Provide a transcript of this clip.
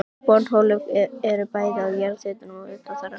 Borholurnar eru bæði á jarðhitasvæðum og utan þeirra.